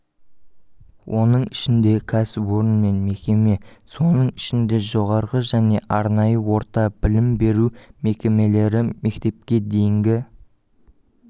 оның ішінде кәсіпорын мен мекеме соның ішінде жоғарғы және арнайы орта білім беру мекемелері мектепке дейінгі